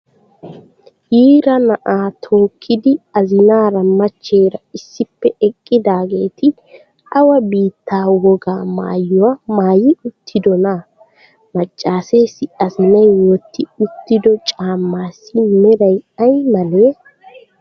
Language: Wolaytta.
Yiira na'aa tookkidi azinaara machcheera issippe eqqidaageeti awa biitta wogaa maayiwaa maayi uttidonaa? Maccaaseessi azinayi wotti uttido caammaassi merayi ayi malee?